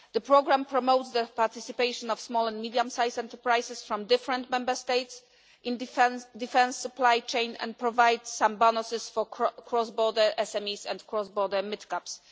The programme promotes the participation of small and medium sized enterprises from different Member States in the defence supply chain and provides some bonuses for cross border SMEs and cross border mid caps.